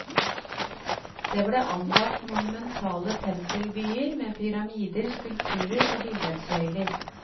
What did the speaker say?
Det ble anlagt monumentale tempelbyer med pyramider, skulpturer og billedsøyler.